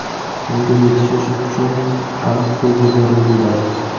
Unga yetishish uchun aniq reja zarur bo‘ladi.